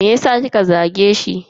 Meyasa kika zage shi?